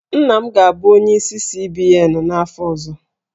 Nna m ga-abụ onyeisi CBN n'afọ ọzọ